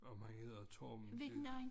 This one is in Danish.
Om han hedder Torben